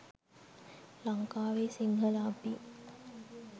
ලංකාවේ සිංහල අපි